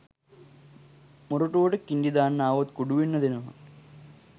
මොරටුවට කිංඩි දාන්න ආවොත් කුඩුවෙන්න දෙනවා.